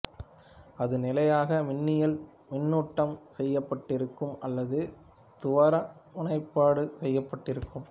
அது நிலையாக மின்னியல் மின்னூட்டம் செய்யப்பட்டிருக்கும் அல்லது துருவமுனைப்பாடு செய்யப்பட்டிருக்கும்